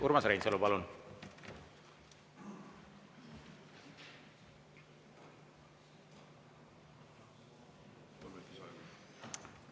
Urmas Reinsalu, palun!